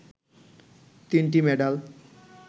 তিনটি মেডাল